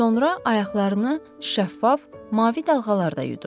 Sonra ayaqlarını şəffaf, mavi dalğalarda yudu.